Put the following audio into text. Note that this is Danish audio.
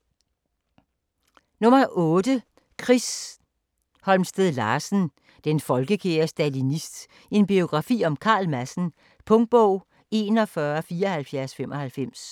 8. Holmsted Larsen, Chris: Den folkekære stalinist: en biografi om Carl Madsen Punktbog 417495